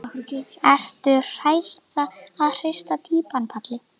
Ertu hrærða eða hrista týpan Palli?